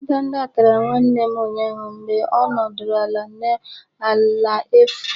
Ndanda tara nwanne m ụnyaahụ mgbe ọ nọdụrụ ala n'ala efu.